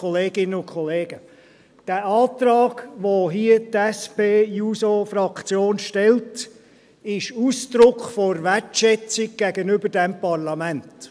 Dieser Antrag, den die SP-JUSO-PSA-Fraktion hier stellt, ist Ausdruck der Wertschätzung gegenüber diesem Parlament.